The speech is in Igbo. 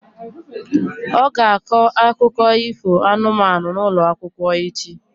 Ọ ga-akọ akụkọ ifo anụmanụ n'ụlọ akwụkwọ echi.